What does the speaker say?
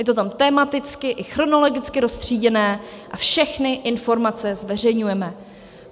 Je to tam tematicky i chronologicky roztříděné a všechny informace zveřejňujeme.